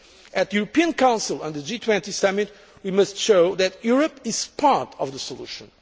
At the European Council and the G20 summit, we must show that Europe is part of the solution.